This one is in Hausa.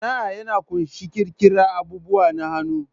Sana'a ya ƙunshi ƙirƙirar abubuwa na hannu